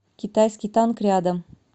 китайский танк рядом